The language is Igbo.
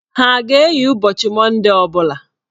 Ha a ga-eyi ụbọchị Mondee ọ bụla?